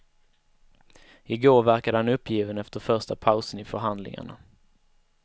I går verkade han uppgiven efter första pausen i förhandlingarna.